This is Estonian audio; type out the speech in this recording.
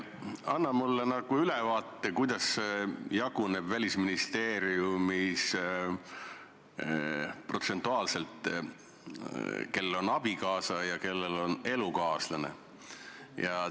Anna mulle ülevaade, kuidas jagunevad Välisministeeriumis diplomaadid protsentuaalselt, kellel on abikaasa ja kellel on elukaaslane.